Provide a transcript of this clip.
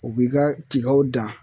U b'i ka tigaw dan.